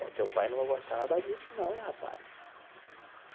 É, teu pai não vai gostar nada disso, não, hein, rapaz?